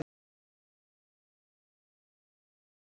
Hvað eru til margar tegundir af þróunarkenningum og hvað kallast þær?